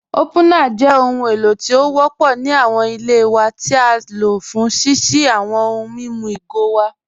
Opunar jẹ̀ ọhun èlò tí o wọ́pọ̀ ni awọn ilẹ̀ wa ti á ló fún ṣíṣí awọn ọ̀hùn mímú igo wa.